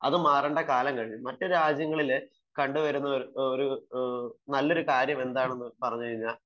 അതൊക്കെ മാറേണ്ട കാലം കഴിഞ്ഞു . മറ്റു രാജ്യങ്ങളിൽ കണ്ടുവരുന്ന നല്ല ഒരു കാര്യം എന്താണെന്നു പറഞ്ഞാൽ